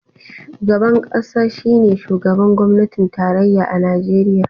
Shugaban kasa shine shugaban gwamnatin tarayya a Najeriya.